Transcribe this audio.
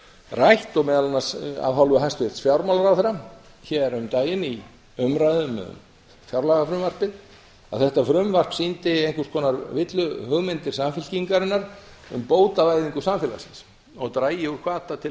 rætt og meðal annars af hálfu hæstvirts fjármálaráðherra hér um daginn í umræðum um fjárlagafrumvarpið um að þetta frumvarp sýndi einhvers konar villuhugmyndir samfylkingarinnar um bótavæðingu samfélagsins og drægi úr hvata til